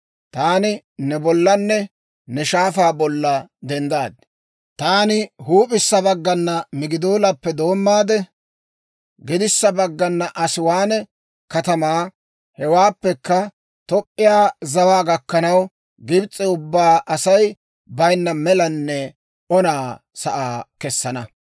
taani ne bollanne ne shaafaa bolla denddaad. Taani huup'issa baggana Migidoolappe doommaade, gedissa baggana Asiwaane katamaa, hewaappekka Toop'p'iyaa zawaa gakkanaw Gibs'e ubbaa Asay bayinna melanne ona sa'aa kessana.